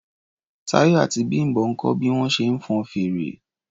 Táyọ̀ àti Bím̀bọ́ ń kọ́ bí wọ́n ṣe ń fọn fèrè.